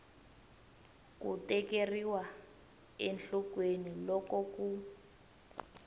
ku tekeriwa enhlokweni loko ku